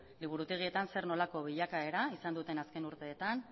liburutegietan zer nolako bilakaera izan duten azken urteetan